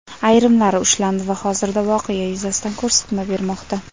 Ayrimlari ushlandi va hozirda voqea yuzasidan ko‘rsatma bermoqda.